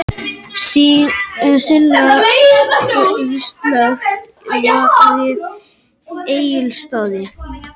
Sina slökkt við Egilsstaði